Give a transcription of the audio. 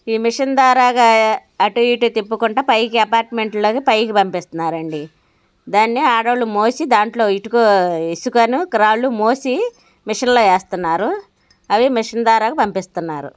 ఈ మిషన్ ధారగా అటు ఇటు తిప్పుకుంటా పైకి అపార్ట్మెంట్ లలోకి పైకి పంపిస్తున్నారండి. దాన్ని ఆడోళ్ళు మోసి దాంట్లో ఇటుక ఇసుకను రాళ్లు మోసి మెషిన్ లో వేస్తున్నారు అవి మిషన్ ద్వారా పంపిస్తున్నారు.